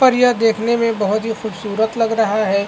पर यह देखने में बहुत ही खूबसूरत लग रहा है।